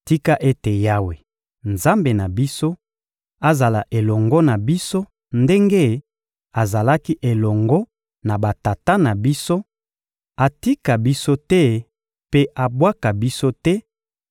Tika ete Yawe, Nzambe na biso, azala elongo na biso ndenge azalaki elongo na batata na biso; atika biso te mpe abwaka biso te;